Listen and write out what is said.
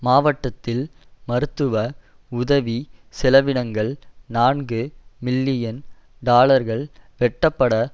மாவட்டத்தில் மருத்துவ உதவி செலவினங்கள் நான்கு மில்லியன் டாலர்கள் வெட்டப்படவேண்டும்